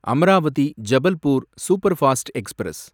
Amravati Jabalpur superfast express